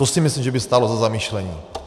To si myslím, že by stálo za zamyšlení.